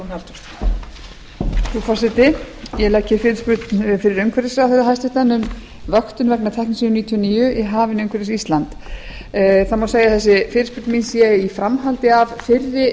frú forseti ég legg fyrirspurn fyrir hæstvirtur umhverfisráðherra um vöktun vegna teknesíum níutíu og níu í hafinu umhverfis ísland það má segja að þessi fyrirspurn mín sé i framhaldi af fyrri